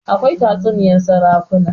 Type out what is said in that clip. akwai tatsuniyar sarakuna